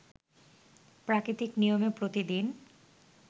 প্রাকৃতিক নিয়মে প্রতিদিন